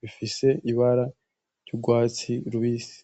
bifise ibara ry'urwatsi rubisi.